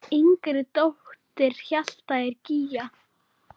Yngri dóttir Hjalta er Gígja.